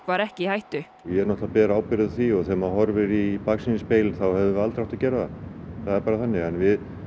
var ekki í hættu ég ber ábyrgð á því þegar við horfum í baksýnisspegilinn hefðum við aldrei átt að gera það við